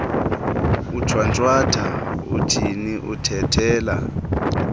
ushwantshatha uthini uthethela